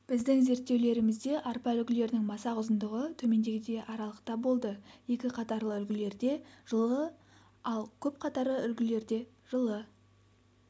біздің зерттеулерімізде арпа үлгілерінің масақ ұзындығы төмендегідей аралықта болды екі қатарлы үлгілерде жылы ал көпқатарлы үлгілерде жылы